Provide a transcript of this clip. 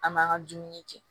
An m'an ka dumuni kɛ